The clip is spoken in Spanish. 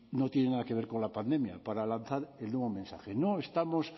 no tiene nada que ver con la pandemia para lanzar el nuevo mensaje